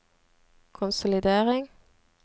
konsolidering